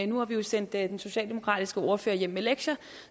nu har vi jo sendt den socialdemokratiske ordfører hjem med lektier